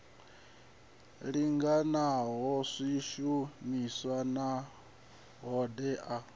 lingana ha swishumiswa na hoddea